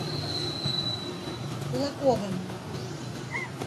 кулаковым